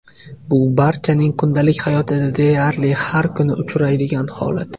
Bu barchaning kundalik hayotida deyarli har kuni uchraydigan holat.